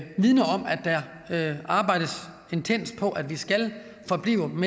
der arbejdes intenst på at vi skal forblive